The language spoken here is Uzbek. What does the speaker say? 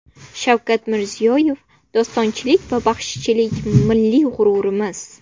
Shavkat Mirziyoyev: Dostonchilik va baxshichilik milliy g‘ururimiz.